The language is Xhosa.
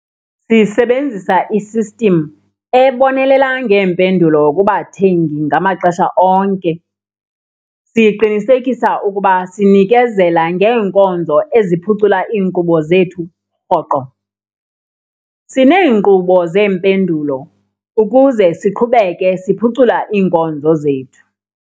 Sisebenzisa i-system ebonelela ngeempendulo kubathengi ngamaxesha onke. Siqinisekisa ukuba sinikezela ngeenkonzo eziphucula iinkqubo zethu rhoqo. Sineenkqubo zeempendulo ukuze siqhubeke siphucula iinkonzo zethu.